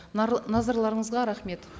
назарларыңызға рахмет